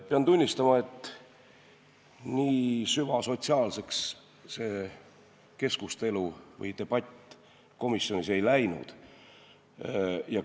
Pean tunnistama, et nii süvasotsiaalseks see keskustelu või debatt komisjonis ei läinud.